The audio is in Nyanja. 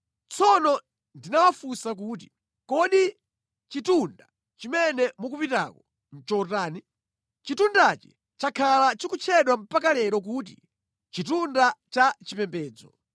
Tsono ndinawafunsa kuti: Kodi chitunda chimene mukupitako nʼchotani? Chitundachi chakhala chikutchedwa mpaka lero kuti ‘Chitunda cha Chipembedzo.’